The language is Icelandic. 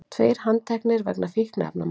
Tveir handteknir vegna fíkniefnamáls